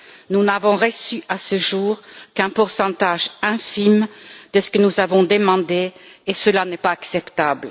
Nous n'avons reçu à ce jour qu'un pourcentage infime de ce que nous avons demandé et cela n'est pas acceptable.